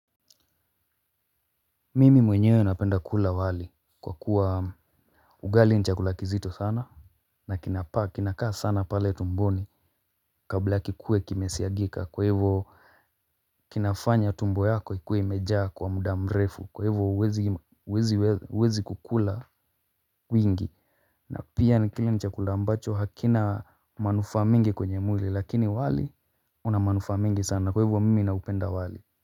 Mimi mwenyewe napenda kula wali kwa kuwa ugali ni chakula kizito sana. Na kinapa, kinakaa sana pale tumboni kabla kikue kimesiagika kwa hivyo kinafanya tumbo yako ikue imejaa kwa muda mrefu kwa hivyo huwezi kukula wingi. Na pia kile ni chakula ambacho hakina manufaa mingi kwenye mwili lakini wali una manufaa mengi sana kwa hivyo mimi ninaupenda wali.